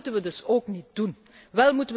Dat moeten we dus ook niet willen.